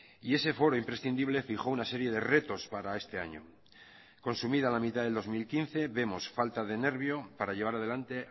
y ese foro imprescindible fijó una serie de retos para este año consumida la mitad del dos mil quince vemos falta de nervio para llevar adelante